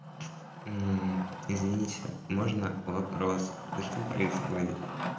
извините можно вопрос что происходит